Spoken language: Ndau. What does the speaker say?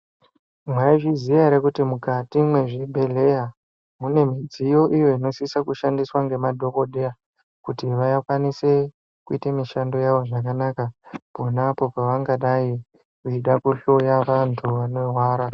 Mwaizviziya ere kuti mukati mwezvibhedhleya mune midziyo iyo inosisa kushandiswa ngemadhokodheya kuti vakwanise kuite mishando yavo zvakanaka ponapo pavangadai veida kuhloya vantu vanorwara.